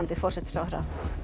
forsætisráðherra